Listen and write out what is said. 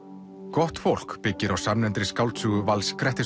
gott fólk byggir á samnefndri skáldsögu Vals